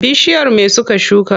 Bishiyar me suka shuka?